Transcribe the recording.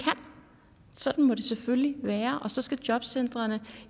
sådan må det selvfølgelig være og så skal jobcentrene